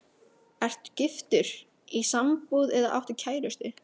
Ertu giftur, í sambúð eða áttu kærustu?